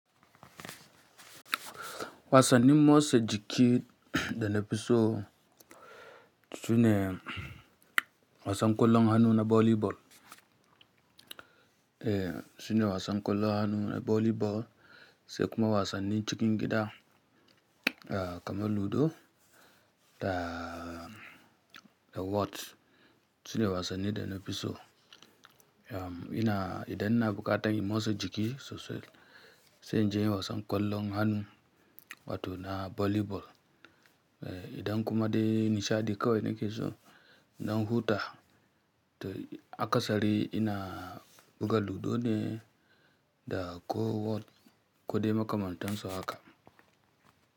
Wasanni motsa jiki da nafi so sune wasan ƙwallon hannu na volleyball, eh sune wasan ƙwallon hannu na volleyball sai kuma wasannin cikin gida kamar ludo da whot sune wasanni da nafi so. Ina idan na buƙatan motsa jiki sosai sai in je wasan ƙwallon hannu wato na volleyball. Eh idan kuma dai nishaɗi kawai nake so, ina huta. To aka sari ina buga ludone da ko whot ko dai makamantansu haka.